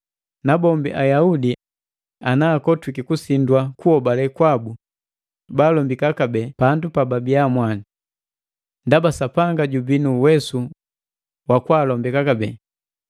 Nabombi Ayaudi ana akotwiki kusindwa kuhobale kwabu, baalombika kabee pandu pa pababii mwandi. Ndaba Sapanga jubii nu uwesu wa kwaalombika kabee.